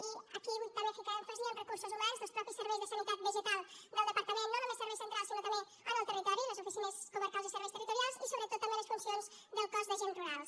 i aquí vull també ficar èmfasi en recursos humans dels mateixos serveis de sanitat vegetal del departament no només serveis centrals sinó també en el territori les oficines comarcals i serveis territorials i sobretot també les funcions del cos d’agents rurals